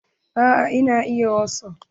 Eh na iya wasup.